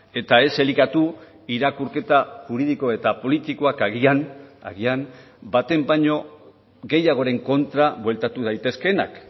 eta ez elikatu irakurketa juridiko eta politikoak agian agian baten baino gehiagoren kontra bueltatu daitezkeenak